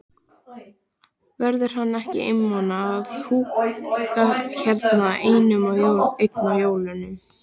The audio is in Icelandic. Verður hann ekki einmana að húka hérna einn á jólunum?